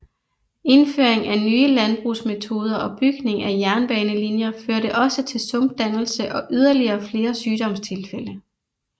Indføring af nye landbrugsmetoder og bygning af jernbanelinjer førte også til sumpdannelse og yderligere flere sygdomstilfælde